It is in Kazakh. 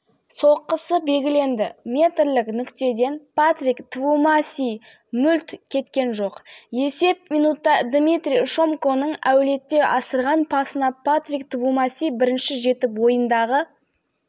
сыртынан тепкен добы тура қақпа торынан табылды араға минут саладмитрий шомко бірнеше ойыншыны алдап өтіп кабанангағасәтті